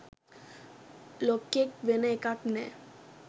ලොක්කෙක් වෙන එකක් නෑ.